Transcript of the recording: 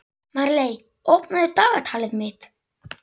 Sveinsína, hver er dagsetningin í dag?